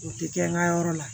O tɛ kɛ n ka yɔrɔ la